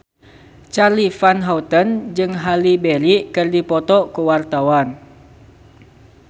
Charly Van Houten jeung Halle Berry keur dipoto ku wartawan